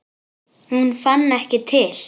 Hún fann ekki til.